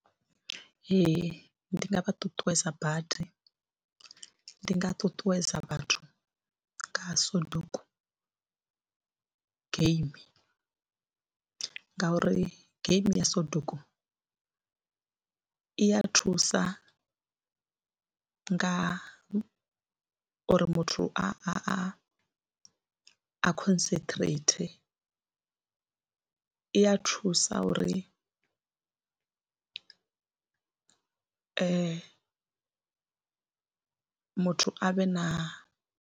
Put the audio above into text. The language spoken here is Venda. Ee, ndi nga vha ṱuṱuwedza badi, ndi nga ṱuṱuwedza vhathu nga Soduku game ngauri game ya Soduku i ya thusa nga uri muthu a a concentrate, i a thusa uri muthu a vhe na.